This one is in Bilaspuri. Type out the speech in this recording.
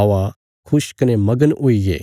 औआ अहें खुश कने मगन हुईगे